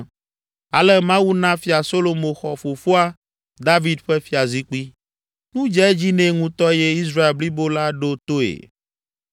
Ale Mawu na Fia Solomo xɔ fofoa, David ƒe fiazikpui. Nu dze edzi nɛ ŋutɔ eye Israel blibo la ɖo toe.